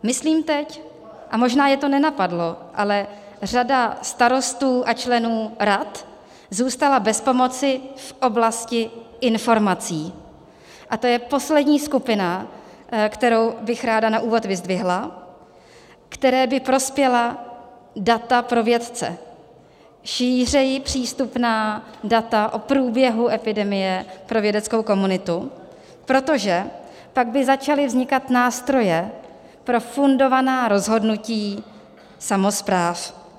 Myslím teď, a možná je to nenapadlo, ale řada starostů a členů rad zůstala bez pomoci v oblasti informací, a to je poslední skupina, kterou bych ráda na úvod vyzdvihla, které by prospěla data pro vědce, šířeji přístupná data o průběhu epidemie pro vědeckou komunitu, protože tak by začaly vznikat nástroje pro fundovaná rozhodnutí samospráv.